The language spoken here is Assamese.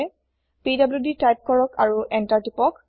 পিডিডি তাইপ কৰক আৰু এন্তাৰ টিপক